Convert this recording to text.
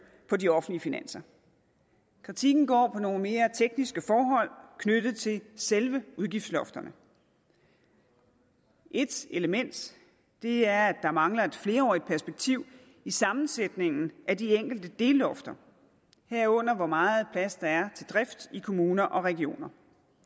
på de offentlige finanser kritikken går på nogle mere tekniske forhold knyttet til selve udgiftslofterne et element er at der mangler et flerårigt perspektiv i sammensætningen af de enkelte dellofter herunder hvor meget plads der er til drift i kommuner og regioner